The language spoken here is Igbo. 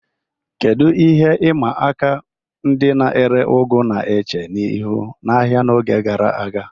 Kedu ihe ịma aka ndị na-ere ugu na-eche ihu n'ahịa n'oge gara aga?